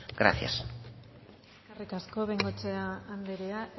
gracias eskerrik asko bengoechea andrea